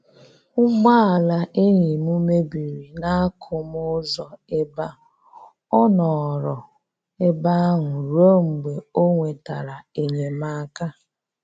Ụgbọ ala enyi m m mebiri n'akụmụ ụzọ ebe a, ọ nọrọ ebe ahụ ruo mgbe o nwetara enyemaka